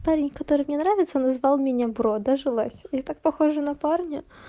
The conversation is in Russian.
парень который мне нравится назвал меня бро дожилась я так похожа на парня